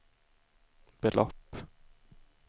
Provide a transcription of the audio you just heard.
belopp